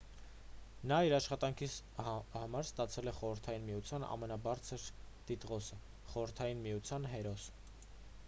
նա իր աշխատանքի համար ստացել է խորհրդային միության ամենաբարձր տիտղոսը խորհրդային միության հերոս